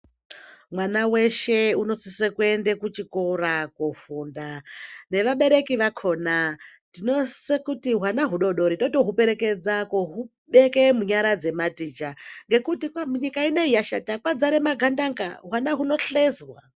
Mwana weshe unosise kuyende kuchikora kofunda. Nevabereki vakhona, tinosise kuti wana wudodori totowuperekedza kowubeke munyara dzematicha, ngekuti munyika inoyi yashata. Kwadzare magandanga